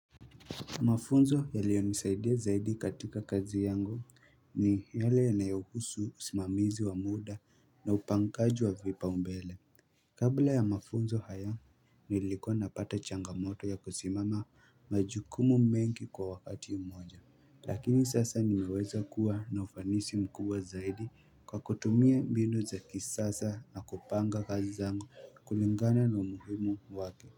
Mafunzo yaliyo nisaidia zaidi katika kazi yangu ni yale yanayohusu usimamizi wa muda na upangaji vipaumbele Kabla ya mafunzo haya nilikuwa napata changamoto ya kusimama majukumu mengi kwa wakati umoja Lakini sasa nimeweza kuwa na ufanisi mkubwa zaidi kwa kutumia mbinu za kisasa na kupanga kazi zangu kulingana na umuhimu wake.